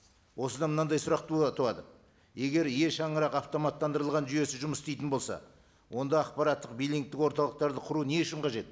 осыдан мынандай сұрақ туады егер е шаңырақ автоматтандырылған жүйесі жұмыс істейтін болса онда ақпараттық биллингтік орталықтарды құру не үшін қажет